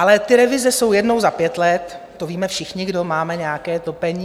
Ale ty revize jsou jednou za pět let, to víme všichni, kdo máme nějaké topení.